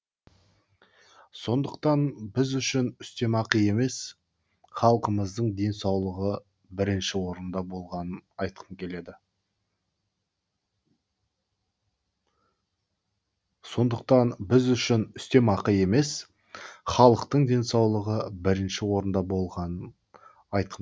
сондықтан біз үшін үстемақы емес халқымыздың денсаулығы бірінші орында болғанын айтқым келеді